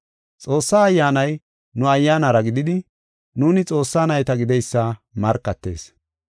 Xoossaa Ayyaanay nu ayyaanara gididi nuuni Xoossaa nayta gideysa markatees.